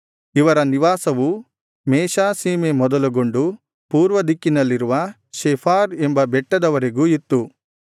ಇವರ ನಿವಾಸವು ಮೇಶಾ ಸೀಮೆ ಮೊದಲುಗೊಂಡು ಪೂರ್ವ ದಿಕ್ಕಿನಲ್ಲಿರುವ ಸೆಫಾರ್ ಎಂಬ ಬೆಟ್ಟದ ವರೆಗೂ ಇತ್ತು